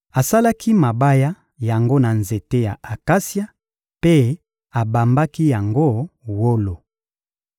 Asalaki mabaya yango na nzete ya akasia mpe abambaki yango wolo.